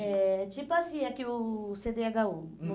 É tipo assim, é que o cê dê agá u. Hum.